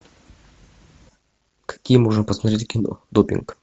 какие можно посмотреть кино допинг